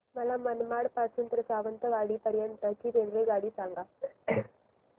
मला मनमाड पासून तर सावंतवाडी पर्यंत ची रेल्वेगाडी सांगा